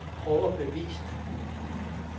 overbevist